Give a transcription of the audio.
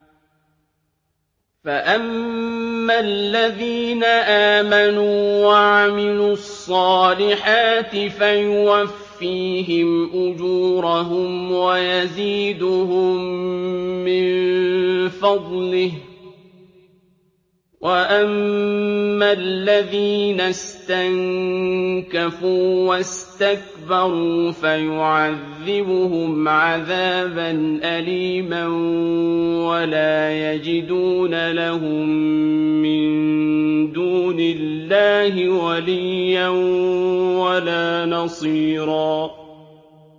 فَأَمَّا الَّذِينَ آمَنُوا وَعَمِلُوا الصَّالِحَاتِ فَيُوَفِّيهِمْ أُجُورَهُمْ وَيَزِيدُهُم مِّن فَضْلِهِ ۖ وَأَمَّا الَّذِينَ اسْتَنكَفُوا وَاسْتَكْبَرُوا فَيُعَذِّبُهُمْ عَذَابًا أَلِيمًا وَلَا يَجِدُونَ لَهُم مِّن دُونِ اللَّهِ وَلِيًّا وَلَا نَصِيرًا